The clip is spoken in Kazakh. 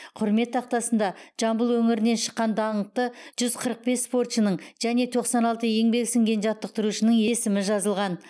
құрмет тақтасында жамбыл өңірінен шыққан даңқты жүз қырық бес спортшының және тоқсан алты еңбегі сіңген жаттықтырушының есімі жазылған